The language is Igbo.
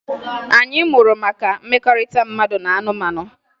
Anyị mụrụ maka mmekọrịta mmadụ na anụmanụ